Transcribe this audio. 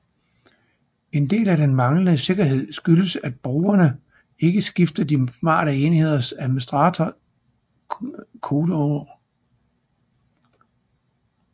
En del af den manglende sikkerhed skyldes at brugerne ikke skifter de smarte enheders administrator kodeord